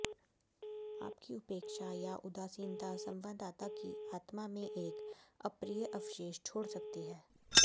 आपकी उपेक्षा या उदासीनता संवाददाता की आत्मा में एक अप्रिय अवशेष छोड़ सकती है